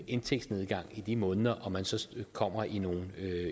indtægtsnedgang i de måneder og man så kommer i nogle